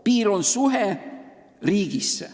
Piir tähendab riiki.